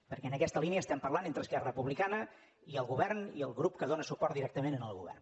perquè en aquesta línia estem parlant entre esquerra republicana i el govern i el grup que dóna suport directament al govern